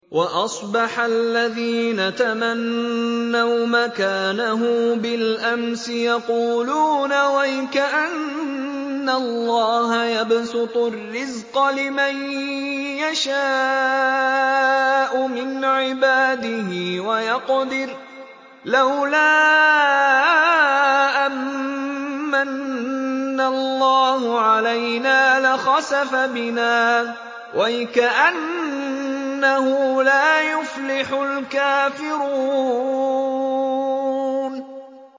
وَأَصْبَحَ الَّذِينَ تَمَنَّوْا مَكَانَهُ بِالْأَمْسِ يَقُولُونَ وَيْكَأَنَّ اللَّهَ يَبْسُطُ الرِّزْقَ لِمَن يَشَاءُ مِنْ عِبَادِهِ وَيَقْدِرُ ۖ لَوْلَا أَن مَّنَّ اللَّهُ عَلَيْنَا لَخَسَفَ بِنَا ۖ وَيْكَأَنَّهُ لَا يُفْلِحُ الْكَافِرُونَ